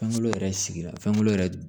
Fɛnko yɛrɛ sigira fɛnko yɛrɛ